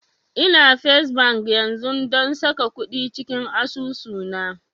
Ina first bank yanzun don saka kuɗi cikin asusu na